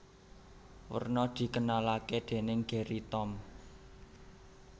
Werna dikenalake dening Gerry Tom